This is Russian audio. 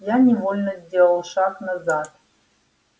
я невольно сделал шаг назад